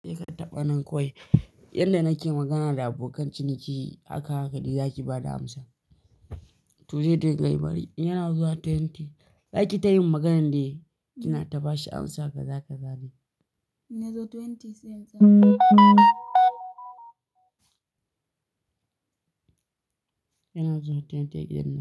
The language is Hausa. Kai ka taɓa nan kawai. Yanda nake magana da abokan ciniki haka hakadai zaki bada amsa. To zai dinga yi bari, yana zuwa twenty. Zaki ta yin maganan dai kina ta bashi amsa kaza ka zane. In ya zo twenties? Yana zuwa twenties gidan nan.